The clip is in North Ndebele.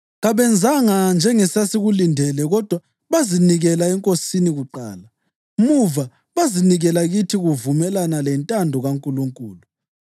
Kabenzanga njengesasikulindele kodwa bazinikela eNkosini kuqala, muva bazinikela kithi kuvumelana lentando kaNkulunkulu.